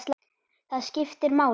Það skiptir máli.